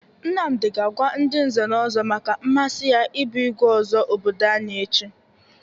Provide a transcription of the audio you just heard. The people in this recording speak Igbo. Nnamdị ga-agwa ndị nze na ọzọ maka mmasi ya ị bụ igwe ọzọ obodo anyị echi.